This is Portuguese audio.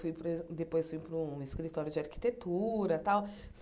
Fui depois fui para um escritório de arquitetura tal.